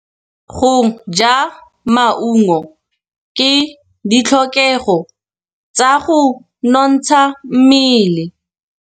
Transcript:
Go ja maungo ke ditlhokegô tsa go nontsha mmele.